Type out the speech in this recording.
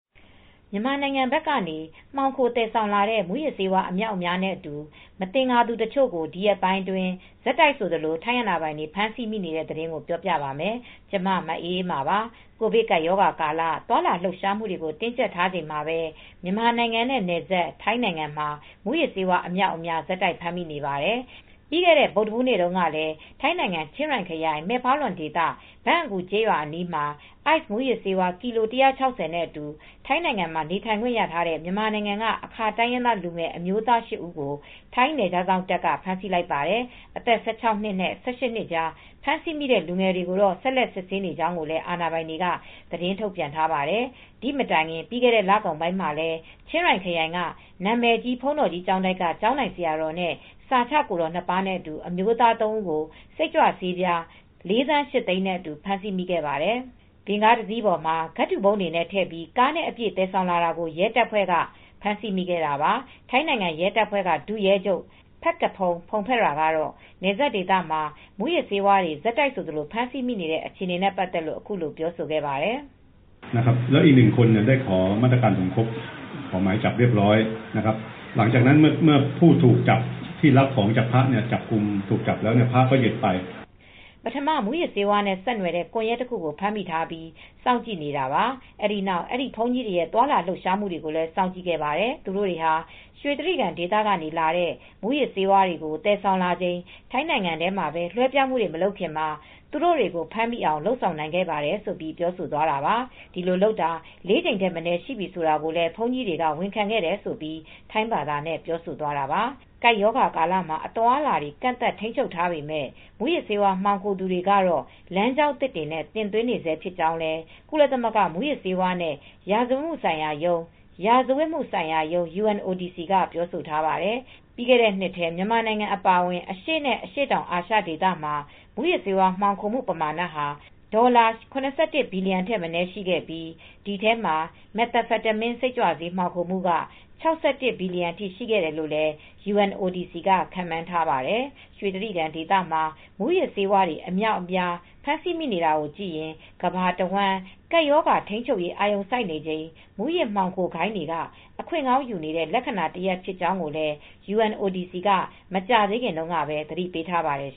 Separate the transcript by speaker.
Speaker 1: မြန်မာနိုင်ငံဘက်ကနေ မှောင်ခိုသယ်ဆောင်လာတဲ့ မူးယစ်ဆေးဝါး အမြောက်အများနဲ့အတူ မသင်္ကာသူတချို့ကို ဒီရက်ပိုင်းအတွင်း ဆက်တိုက်ဆိုသလို ထိုင်းအာဏာပိုင်တွေ ဖမ်းဆီးမိနေတဲ့ သတင်းကို ဗွီအိုအေမြန်မာပိုင်း သတင်းထောက် မအေးအေးမာက ပြောပြပါမယ်။ ကိုဗစ်ကပ်ရောဂါကာလ သွားလာလှုပ်ရှားမှုတွေကို တင်းကြပ်ထားချိန်မှာပဲ မြန်မာနိုင်ငံနဲ့နယ်စပ် ထိုင်းနိုင်ငံမှာ မူးယစ်ဆေးဝါး အမြောက်အများ ဆက်တိုက် ဖမ်းဆီးမိနေပါတယ်။ ပြီးခဲ့တဲ့ ဗုဒ္ဓဟူးနေ့မှာတုန်းကလည်း ထိုင်းနိုင်ငံ ချင်းရိုင်ခရိုင် မဲဖါလွင်ဒေသ ဘန့်အကူ ကျေးရွာအနီးမှာ Ice မူးယစ်ဆေး ကီလို ၁၆၀ နဲ့အတူ ထိုင်းနိုင်ငံမှာ နေထိုင်ခွင့်ရထားတဲ့ မြန်မာနိုင်ငံက အာခါတိုင်းရင်းသား လူငယ်အမျိုးသား ၈ ဦးကို ထိုင်းနယ်ခြားစောင့်တပ်က ဖမ်းဆီးလိုက်ပါတယ်။ အသက် ၁၆ နှစ်နဲ့၁၈ နှစ်ကြား ဖမ်းဆီးမိတဲ့ လူငယ်တွေကိုတော့ ဆက်လက် စစ်ဆေးနေကြောင်းလည်း အာဏာပိုင်တွေက သတင်းထုတ်ပြန်ထားပါတယ်။ ဒီမတိုင်ခင် ပြီးခဲ့တဲ့လကုန်ပိုင်းမှာလည်း ချင်ရိုင်ခရိုင်က နာမည်ကြီး ဘုန်းတော်ကြီးကျောင်းတိုက်တခုက ကျောင်းထိုင်ဆရာတော်နဲ့ စာချကိုယ်တော် ၂ ပါးနဲ့အတူ အမျိုးသား ၃ ဦးကို စိတ်ကြွဆေးပြား ၄,၈၀၀,၀၀၀ နဲ့အတူ ဖမ်းဆီးမိခဲ့ပါတယ်။ ဗင်ကားတစင်းပေါ်မှာ ကဒ်ထူပုံးတွေနဲ့ ထည့်ပြီး ကားနဲ့အပြည့် သယ်ဆောင်လာတာကို ထိုင်းရဲတပ်ဖွဲ့က ဖမ်းဆီးမိခဲ့တာပါ။ ထိုင်းနိုင်ငံ ရဲတပ်ဖွဲ့က ဒုရဲချုပ် Phakphong Phongphetra ကတော့ နယ်စပ်ဒေသမှာ မူးယစ်ဆေးဝါးတွေ ဆက်တိုက်ဆိုသလို ဖမ်းဆီးမိနေတဲ့ အခြေအနေနဲ့ ပတ်သက်လို့ အခုလို ပြောဆိုခဲ့ပါတယ်။ "ပထမ မူးယစ်ဆေးဝါးနဲ့ ဆက်နွယ်တဲ့ ကွန်ယက်တခုကို ဖမ်းမိထားပြီး စောင့်ကြည့်နေတာ အဲဒီနောက်အဲဒီ ဘုန်းကြီးတွေရဲ့ သွားလာလှုပ်ရှားမှုတွေကို စောင့်ကြည့်ခဲ့ပါတယ်။ သူတို့တွေဟာရွှေတြိဂံဒေသကနေ လာတဲ့ မူးယစ်ဆေးဝါးတွေကို သယ်ဆောင်လာချိန် ထိုင်းနိုင်ငံထဲမှာ လွဲပြောင်းမှုတွေ မလုပ်ခင်မှာ သူတို့တွေကို ဖမ်းမိအောင်လုပ်ဆောင်နိုင်ခဲ့တယ်ဆိုပြီးပြောဆိုသွားတာပါ။ ဒီလိုလုပ်တာ ၄ ကြိမ်မနည်းရှိပြီဆိုတာကိုလည်း ဘုန်းကြီးတွေက ဝန်ခံခဲ့တယ်။" ဆိုပြီး ထိုင်းဘာသာနဲ့ ပြောဆိုသွားတာပါ။ ကပ်ရောဂါကာလမှာ အသွားအလာတွေ ကန့်သတ်ထိန်းချုပ်ထားပေမဲ့ မူးယစ်ဆေးဝါး မှောင်ခိုသူတွေကတော့ လမ်းကြောင်းသစ်တွေနဲ့ တင်သွင်းနေဆဲဖြစ်ကြောင်းလည်း ကုလသမဂ္ဂ မူးယစ်ဆေးဝါးနဲ့ ရာဇဝတ်မှုဆိုင်ရာရုံး (UNODC) က ပြောဆိုထားပါတယ်။ ပြီးခဲ့တဲ့နှစ်ထဲ မြန်မာနိုင်ငံအပါအဝင် အရှေ့နဲ့ အရှေ့တောင်အာရှ ဒေသမှာ မူးယစ်ဆေးဝါး မှောင်ခိုမှုပမာဏဟာ ဒေါ်လာ ၇၁ ဘီလီယံထက်မနည်း ရှိခဲ့ပြီး၊ ဒီအထဲမှာ Methamphetamine စိတ်ကြွဆေး မှောင်ခိုမှုက ၆၁ ဘီလီယံအထိ ရှိတယ်လို့လည်း UNODC က ခန့်မှန်းထားပါတယ်။ ရွှေတြိဂံဒေသမှာ မူးယစ်ဆေးတွေ အများအပြား ဖမ်းဆီးမိနေတာကိုကြည့်ရင် ကမ္ဘာတဝန်း ကပ်ရောဂါထိန်းချုပ်ရေး အာရုံစိုက်နေချိန် မူးယစ်ဆေးမှောင်ခိုဂိုဏ်းတွေက အခွင့်ကောင်းယူနေတဲ့ လက္ခဏာတရပ် ဖြစ်ကြောင်းလည်း UNODC က မကြာသေးခင်တုန်းကပဲ သတိပေးထားပါတယ်